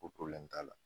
Ko t'a la